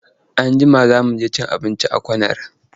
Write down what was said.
Anjima za mu je cin abinci a corner.